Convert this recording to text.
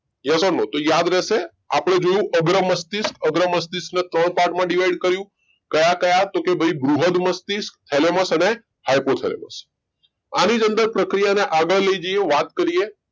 તો યાદ રેશે આપડે અગ્ર મસ્તિષ્ક અગ્રમસ્તિષ્ક ને ત્રણ part માં divide કર્યું કયા કયા તો ભાઈ બૃહદ મસ્તિષ્ક thalamus અને hypothalamus આની જ અંદર પ્રક્રિયાને આગળ લઇ જઈએ વાત કરીએ